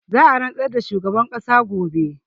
Za a rantsar da shugaban ƙasa gobe